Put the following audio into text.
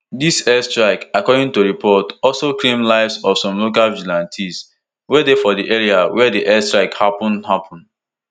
dis airstrike according to report also claim lives of some local vigilantes wey dey for di area wia di airstrike happun happun